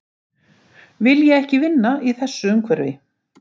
Vilja ekki vinna í þessu umhverfi